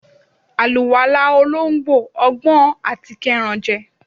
àlúwalá olońgbo, ogbọn atí kerán je